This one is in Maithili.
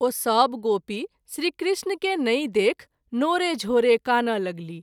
ओ सभ गोपी श्री कृष्ण के नहिं देखि नोरे झोरे कानय लगलीह।